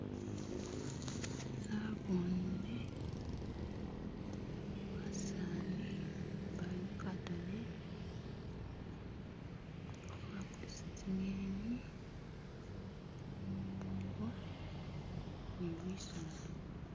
Nabone basani bali mu'khatale khabakulisa tsi'ngeni waliwo ni bisaala